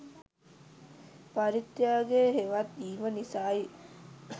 පරිත්‍යාගය හෙවත් දීම නිසායි.